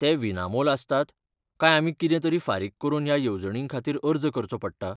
ते विनामोल आसतात काय आमी कितेंतरी फारीक करून ह्या येवजणींखातीर अर्ज करचो पडटा?